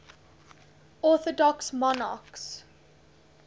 orthodox monarchs